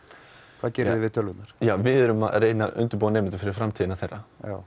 hvað gerið þið við tölvurnar við erum að reyna að undirbúa nemendur fyrir framtíðina þeirra